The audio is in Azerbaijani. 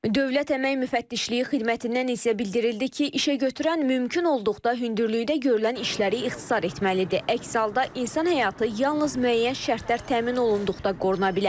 Dövlət Əmək Müfəttişliyi xidmətindən isə bildirildi ki, işəgötürən mümkün olduqda hündürlükdə görülən işləri ixtisar etməlidir, əks halda insan həyatı yalnız müəyyən şərtlər təmin olunduqda qoruna bilər.